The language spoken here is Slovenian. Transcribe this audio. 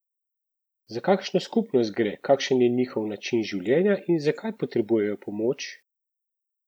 Za kakšno skupnost gre, kakšen je njihov način življenja in zakaj potrebujejo pomoč?